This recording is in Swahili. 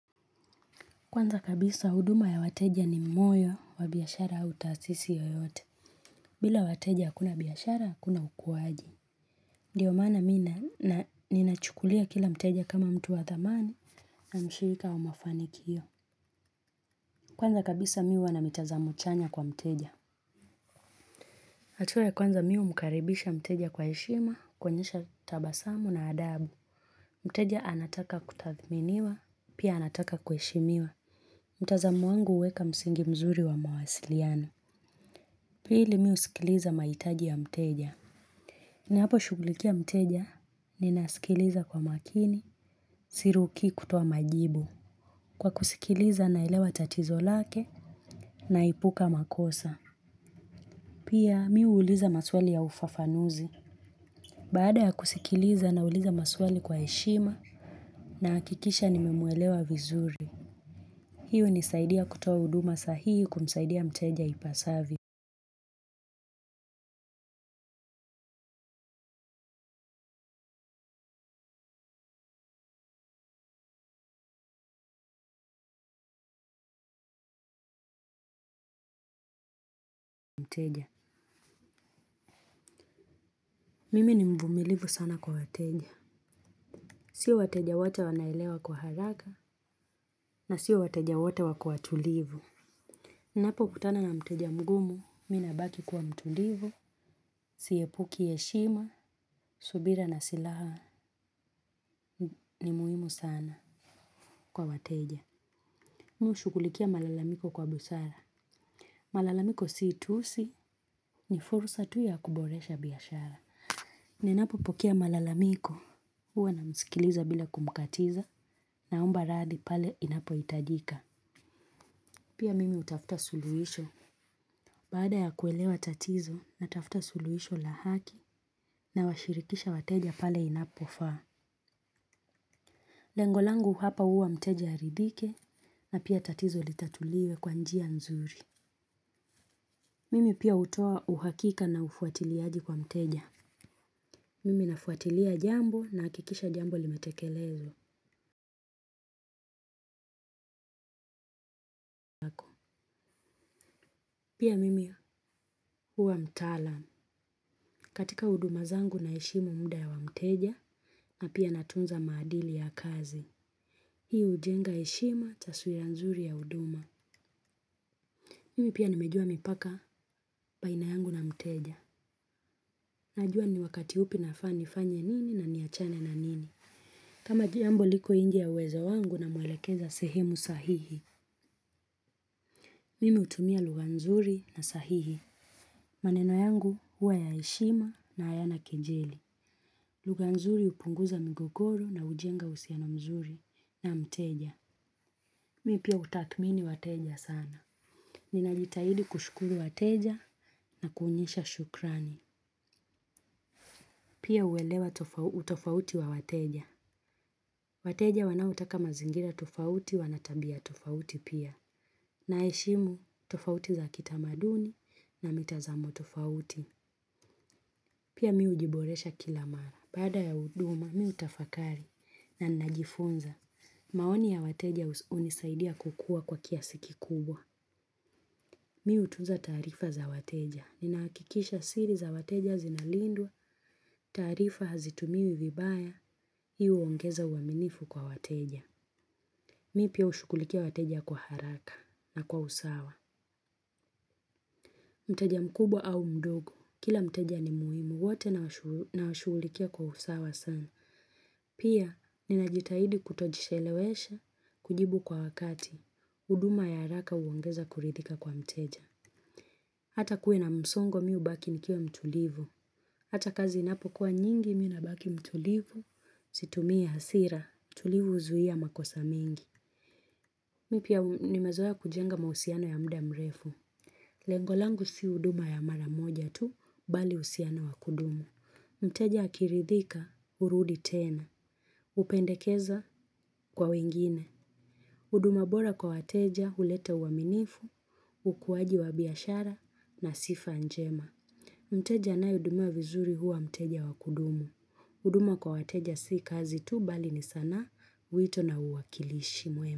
Kwanza kabisa huduma ya wateja ni moyo wa biashara au taasisi yoyote. Bila wateja hakuna biashara, hakuna ukuaji. Ndio maana mimi na ninachukulia kila mteja kama mtu wa thamana na mshirika wa mafanikio kwanza kabisa mimi huwa na mtazamo chanya kwa mteja. Hatua ya kwanza mimi humkaribisha mteja kwa heshima kuonyesha tabasamu na adabu. Mteja anataka kuthaminiwa pia anataka kuheshimiwa. Mtazamo wangu huweka msingi mzuri wa mawasiliano. Pili mimi husikiliza mahitaji ya mteja. Ninapo shugulikia mteja ninasikiliza kwa makini sirukii kutoa majibu. Kwa kusikiliza naelewa tatizo lake naepuka makosa. Pia mimi huuliza maswali ya ufafanuzi. Baada ya kusikiliza nauliza maswali kwa heshima nahakikisha nime muelewa vizuri. Hiyo hunisaidia kutoa huduma sahihi kumsaidia mteja ipasavyo mteja. Mimi ni mvumilivu sana kwa wateja sio wateja wote wanaelewa kwa haraka na sio wateja wote wako watulivu. Ninapo kutana na mteja mgumu mimi nabaki kwa mtulivu siepuki heshima subira ni silaha ni muhimu sana kwa wateja. Mimi hushughulikia malalamiko kwa busara malalamiko si tusi ni fursa tu ya kuboresha biashara. Ninapo pokea malalamiko huwa namsikiliza bila kumkatiza naomba radhi pale inapo hitajika. Pia mimi hutafuta suluisho baada ya kuelewa tatizo natafuta suluhisho la haki nawashirikisha wateja pale inapofaa lengo langu hapa huwa mteja aridhike na pia tatizo litatuliwe kwa njia nzuri. Mimi pia hutoa uhakika na ufuatiliaji kwa mteja mimi nafuatilia jambo nahakikisha jambo limetekelezwa. Pia mimi huwa mtalaam. Katika huduma zangu naheshimu muda ya wa mteja na pia natunza maadili ya kazi. Hii hujenga heshima taswira nzuri ya huduma. Mimi pia nimejua mipaka baina yangu na mteja najua ni wakati upi nafaa nifanye nini na niachane na nini. Kama jambo liko nje ya uwezo wangu namwelekeza sehemu sahihi. Mimi hutumia lugha nzuri na sahihi. Maneno yangu hua ya heshima na hayana kejeli. Lugha nzuri hupunguza mgogoro na hujenga uhusiano mzuri na mteja. Mimi pia hutathmini wateja sana nina jitahidi kushukuru wateja na kuonyesha shukrani. Pia huelewa utofauti wa wateja wateja wanaotoka mazingira tofauti wana tabia tofauti pia. Naheshimu tofauti za kitamaduni na mitazamo tofauti pia mimi hujiboresha kila mara. Bada ya huduma mimi hutafakari na ninajifunza. Maoni ya wateja hunisaidia kukua kwa kiasi kikubwa. Mimi hutunza taarifa za wateja. Nina hakikisha siri za wateja zinalindwa taarifa hazitumiwi vibaya hii huongeza uaminifu kwa wateja. Mimi pia hushughulikia wateja kwa haraka na kwa usawa mteja mkubwa au mdogo kila mteja ni muhimu wote nawashughulikia kwa usawa sawa. Pia ninajitahidi kutoshelesha kujibu kwa wakati huduma ya haraka huongeza kuridhika kwa mteja. Hata kuwe na msongo mimi hubaki nikiwa mtulivu. Hata kazi inapo kuwa nyingi mimi nabaki mtulivu situmii hasira utulivu huzuia makosa mingi. Mimi pia nimezoea kujenga mahusiano ya muda mrefu. Lengo langu si huduma ya maramoja tu bali uhusiano wa kudumu. Mteja akiridhika hurudi tena. Hupendekeza kwa wengine. Huduma bora kwa wateja huleta uaminifu ukuaji wa biashara na sifa njema. Mteja anae hudumiwa vizuri huwa mteja wa kudumu. Huduma kwa wateja si kazi tu bali ni sanaa wito na uwakilishi mwema.